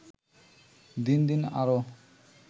দিন দিন আরও